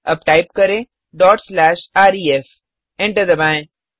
अब टाइप करें dot slash ref enter दबाएँ